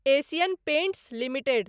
Asian Paints limited